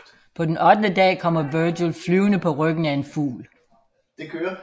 På den ottende dag kommer Vergil flyvende på ryggen af en fugl